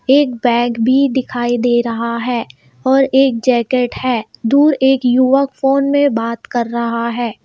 एक बैग भी दिखाई दे रहा है और एक जैकेट है दूर एक युवक फोन में बात कर रहा है।